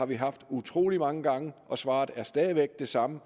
vi har haft utrolig mange gange og svaret er stadig væk det samme